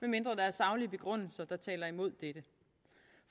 saglige begrundelser der taler imod dette